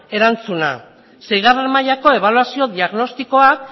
erantzuna seigarren mailako ebaluazio diagnostikoa